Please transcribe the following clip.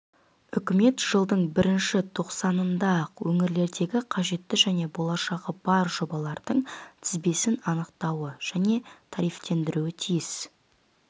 үкімет жылдың бірінші тоқсанында-ақ өңірлердегі қажетті және болашағы бар жобалардың тізбесін анықтауы және тарифтендіруі тиіс